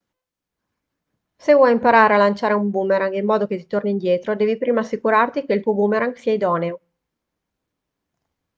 se vuoi imparare a lanciare un boomerang in modo che ti torni indietro devi prima assicurarti che il tuo boomerang sia idoneo